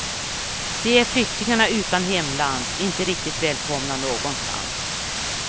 De är flyktingarna utan hemland, inte riktigt välkomna någonstans.